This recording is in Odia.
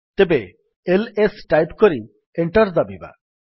ତେବେ ଏଲଏସ୍ ଟାଇପ୍ କରି ଏଣ୍ଟର୍ ଦାବିବା